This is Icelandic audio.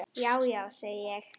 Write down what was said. Já, já, segi ég.